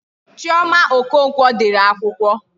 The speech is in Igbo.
Chioma Okonkwo dere akwụkwọ.